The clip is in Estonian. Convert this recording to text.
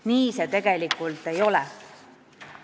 Nii see tegelikult ei ole.